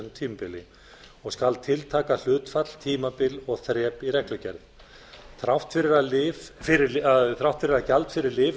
tilteknu tímabili og skal tiltaka hlutfall tímabil og þrep í reglugerð þrátt fyrir að gjald fyrir lyf